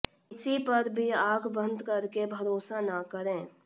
किसी पर भी आंख बंद करके भरोसा न करें